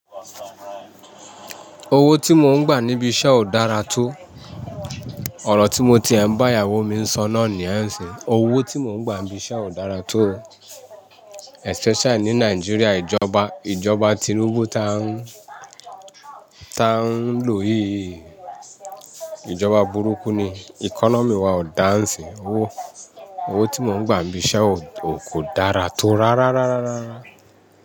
Owó tí mò ń gbà níbi iṣẹ́ ò dára tó. Ọ̀rọ̀ tí mo ti ẹ ń bá ìyàwó mi sọ na níyẹn siyí. Owó tí mò ń gbà níbi iṣẹ́ ò dára tó especially ní Nàìjíríà ìjọba, ìjọba tinúbú ta ń, ta ń lò yìí. Ìjọba burúkú ni economy wa ò dá ń siyí. Owó, owó tí mò ń gbà níbi iṣẹ́ ò, ò kó dára tó rárárárárá.